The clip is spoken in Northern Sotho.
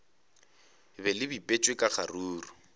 be le bipetšwe ka kgaruru